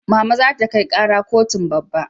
Mama za ta kai kara kotun babba